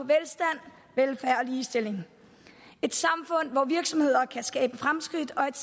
ligestilling et samfund hvor virksomheder kan skabe fremskridt og et